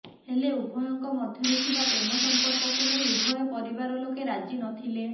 ହେଲେ ଉଭୟଙ୍କ ମଧ୍ୟରେ ଥିବା ପ୍ରେମସମ୍ପର୍କକୁ ନେଇ ଉଭୟ ପରିବାରଲୋକେ ରାଜି ନଥିଲେ